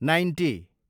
ninety